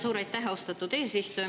Suur aitäh, austatud eesistuja!